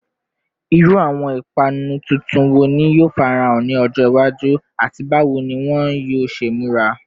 Iru awọn ipanu tuntun wo ni yoo farahan ni ọjọ iwaju, ati bawo ni wọn yoo ṣe mura?